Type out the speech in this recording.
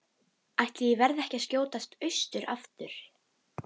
Ætli ég verði ekki að skjótast austur aftur.